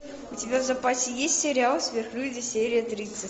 у тебя в запасе есть сериал сверхлюди серия тридцать